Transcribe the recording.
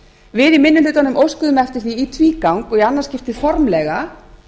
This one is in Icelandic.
við í minni hlutanum óskuðum eftir því í tvígang og í annað skiptið formlega